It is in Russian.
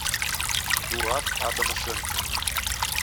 дурак адама шенкмана